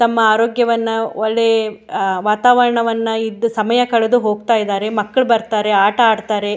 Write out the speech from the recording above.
ತಮ್ಮ ಆರೋಗ್ಯವನ್ನ ಒಳ್ಳೆ ಅ ವಾತಾವರ್ಣ ವನ್ನ ಇದ್ದು ಸಮಯ ಕಳೆದು ಹೋಗ್ತಾ ಇದ್ದಾರೆ ಮಕ್ಳು ಬರ್ತಾರೆ ಆತ ಆಡ್ತಾರೆ.